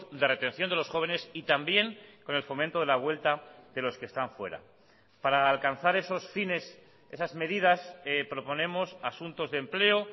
de retención de los jóvenes y también con el fomento de la vuelta de los que están fuera para alcanzar esos fines esas medidas proponemos asuntos de empleo